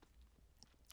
TV 2